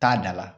Taa da la